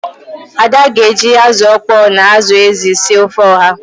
Ada ga-eji azụ ọkpọọ na anụ ezi sie ofe oha.